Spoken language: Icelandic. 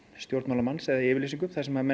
stjórnmálamanns eða yfirlýsingu þar sem